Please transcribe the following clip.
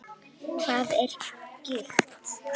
Hvað er gigt?